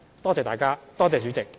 多謝大家，多謝代理主席。